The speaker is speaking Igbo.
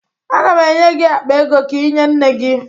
Aga m enye gị akpa ego ka ị nye nne gị